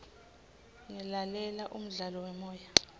ngilalela umdlalo wemoya